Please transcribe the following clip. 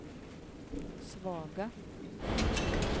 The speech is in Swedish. svaga